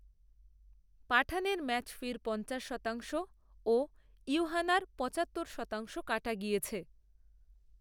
পাঠানের ম্যাচফির পঞ্চাশ শতাংশও ইউহানারপঁচাত্তর শতাংশ কাটা গিয়েছে